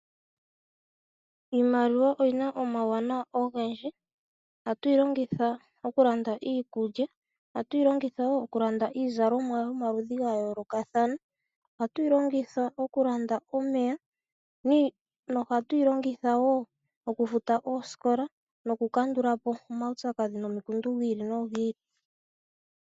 Iimaliwa oyi na omauwanawa ogendii. Ohatu yi longitha okulanda iikulya, iizalomwa yomaludhi ga yoolokathana, okufuta omeya noosikola nosho wo okukandula po omaupyakadhi nomikundu dhi ili nodhi ili.